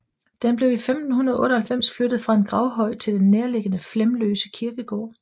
Den blev i 1598 flyttet fra en gravhøj til den nærliggende Flemløse Kirkegård